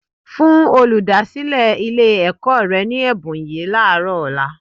Fún olùdásílẹ̀ Ilé-ẹ̀kọ́ rẹ ní ẹ̀bùn yìí láàárọ̀ ọ̀la